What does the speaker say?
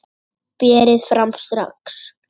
Berið fram strax.